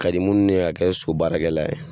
ka di munnu ye ka kɛ so baarakɛla ye